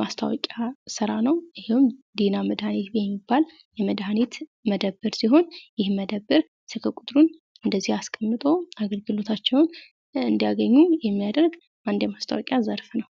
ማስታወቂያ ስራ ነው :: ይህም ዲና መድኃኒት ቤት የሚባል የመድኃኒት መደብር ሲሆን ይህም መደብር ስልክ ቁጥሩን እንደዚ አስቀምጦ አገልግሎታቸውን እንዲያገኙ የሚያደርግ አንድ የማስታወቂያ ዘርፍ ነው::